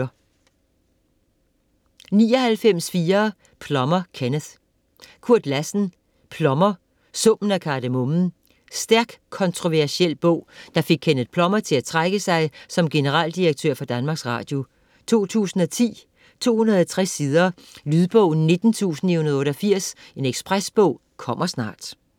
99.4 Plummer, Kenneth Lassen, Kurt: Plummer: summen af kardemommen Stærk kontroversiel bog der fik Kenneth Plummer til at trække sig som generaldirektør for Danmarks Radio. 2010, 260 sider. Lydbog 19988 Ekspresbog - kommer snart